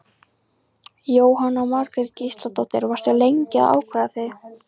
Jóhanna Margrét Gísladóttir: Varstu lengi að ákveða þig?